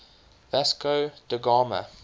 vasco da gama